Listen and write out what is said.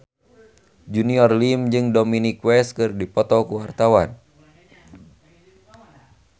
Junior Liem jeung Dominic West keur dipoto ku wartawan